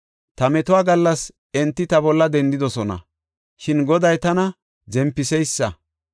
Ta metuwa gallas enti ta bolla dendidosona; shin Goday tana zempiseysa.